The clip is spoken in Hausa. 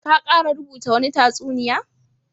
Ka kara rubuta wani tatsuniya?